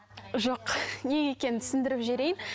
жоқ неге екенін түсіндіріп жіберейін